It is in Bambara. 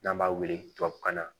N'an b'a wele tubabukan na